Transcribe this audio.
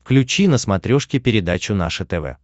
включи на смотрешке передачу наше тв